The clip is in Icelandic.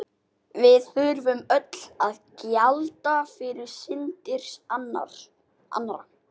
Við þurfum öll að gjalda fyrir syndir annarra.